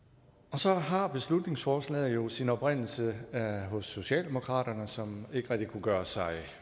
så har beslutningsforslaget jo sin oprindelse hos socialdemokratiet som ikke rigtig kunne gøre sig